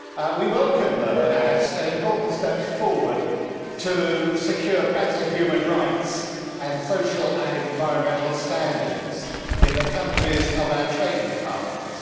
We welcome these as important steps forward to secure better human rights and social and environmental standards in the countries that are our trading partners.